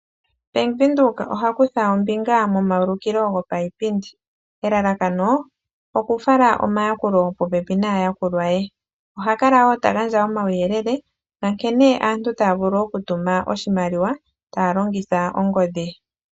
Bank Windhoek oha kutha ombinga momayulikilo gopaipindi elalakano okufala omayakulo popepi naayakulwa ye, ohakala wo tagandja omauyelele kene aantu taavulu okutuma oshimaliwa taa longitha ongodhi.